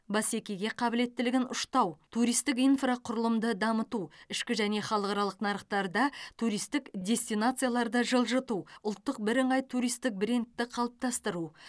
бәсекеге қабілеттілігін ұштау туристік инфрақұрылымды дамыту ішкі және халықаралық нарықтарда туристік дестинацияларды жылжыту ұлттық бірыңғай туристік брендті қалыптастыру